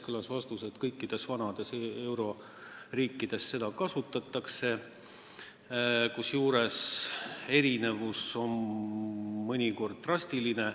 Kõlas vastus, et kõikides vanades euroliidu riikides seda kasutatakse, kusjuures erinevus on mõnikord drastiline.